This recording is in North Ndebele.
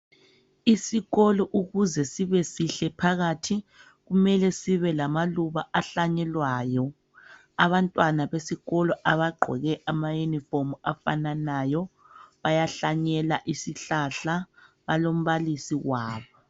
Isikolo ukuze sibe sihle phakathi kumele sibe lamaluba ahlanyelwayo. Abantwana besikolo abagqoke amayunifomu afananayo bayahlanyela isihlahla balombalisi wabo.